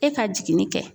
E ka jiginin kɛ